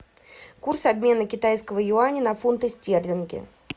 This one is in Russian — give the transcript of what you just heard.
курс обмена китайского юаня на фунты стерлинги